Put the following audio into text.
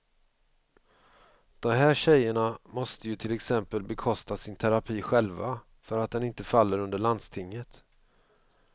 De här tjejerna måste ju till exempel bekosta sin terapi själva, för att den inte faller under landstinget.